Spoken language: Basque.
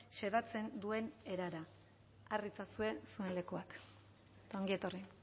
xedatzen duen erara har ditzazue zuen lekuak ongi etorri